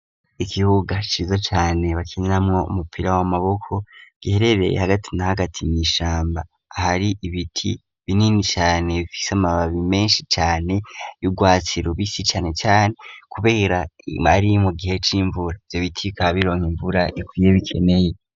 Ikibuga ciza cane bakiniramwo umupira w'amaboko giherereye hagati na hagati mw'ishamba ahari ibiti binini cane bifise amababi menshi cane y'urwatsi rubisi cane cane, kubera ari mu gihe c'imvura ivyo biti bikaba bironka imvura ikwiye bikeneye.